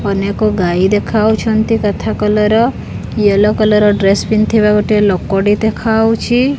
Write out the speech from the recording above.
ଅନେକ ଗାଈ ଦେଖାହୋଉଛନ୍ତି ତଥା କଲର୍ ର ଏଲ୍ଲୋ କଲର୍ ଡ୍ରେସ୍ ପିନ୍ଧିଥିବା ଗୋଟେ ଲୋକଟେ ଦେଖାହୋଉଛି।